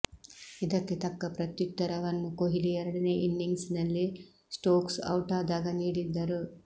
ಇದಕ್ಕೆ ತಕ್ಕ ಪ್ರತ್ಯುತ್ತರವನ್ನು ಕೊಹ್ಲಿ ಎರಡನೇ ಇನ್ನಿಂಗ್ಸ್ ನಲ್ಲಿ ಸ್ಟೋಕ್ಸ್ ಔಟಾದಾಗ ನೀಡಿದ್ದರು